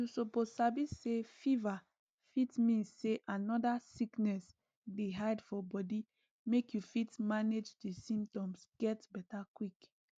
you suppose sabi say fever fit mean say another sickness dey hide for body make you fit manage di symptoms get beta quick